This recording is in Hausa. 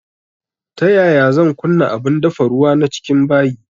Ta yaya zan kunna abun dafa ruwa na cikin bayi